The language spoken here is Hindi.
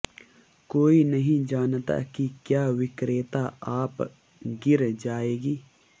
कोई नहीं जानता कि क्या विक्रेता आप गिर जाएगी